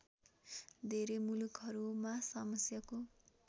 धेरै मुलुकहरूमा समस्याको